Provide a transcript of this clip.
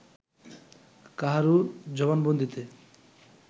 কাহারও জবানবন্দীতে